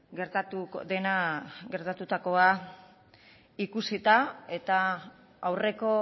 gertatu dena gertatutakoa ikusita eta aurreko